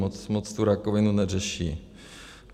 Moc tu rakovinu neřeší.